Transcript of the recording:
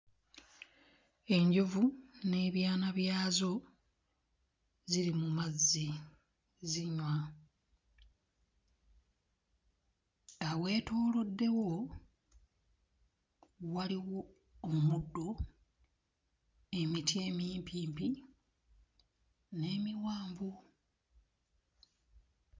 Enjovu n'ebyana byazo ziri mu mazzi zinywa, aweetooloddewo waliwo omuddo, emiti emimpimpi n'emiwanvu.